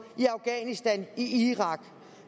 i afghanistan og i irak